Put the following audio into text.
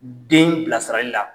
U den bilasirali la